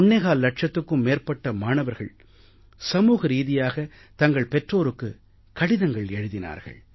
25 இலட்சத்துக்கும் மேற்பட்ட மாணவர்கள் சமூக ரீதியாக தங்கள் பெற்றோருக்குக் கடிதம் எழுதினார்கள்